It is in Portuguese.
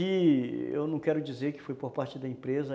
Eu não quero dizer que foi por parte da empresa.